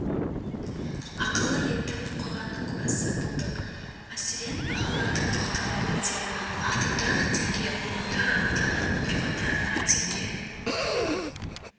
ақылы етіп қойғанның куәсі болдық мәселен бағаларға тоқталып өтсем автотұрақ теңге отырар ауданының тұрғындарына теңге